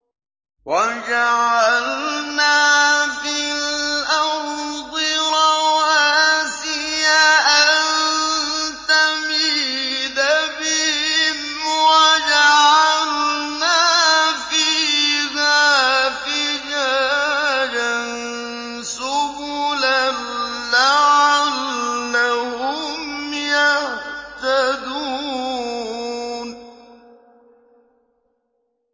وَجَعَلْنَا فِي الْأَرْضِ رَوَاسِيَ أَن تَمِيدَ بِهِمْ وَجَعَلْنَا فِيهَا فِجَاجًا سُبُلًا لَّعَلَّهُمْ يَهْتَدُونَ